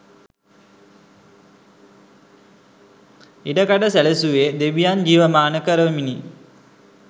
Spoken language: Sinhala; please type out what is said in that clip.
ඉඩකඩ සැලසුවේ දෙවියන් ජීවමාන කරවමිනි.